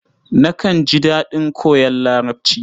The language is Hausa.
Nakan ji daɗin koyon Larabci.